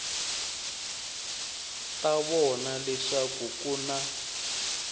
ta vona leswaku ku na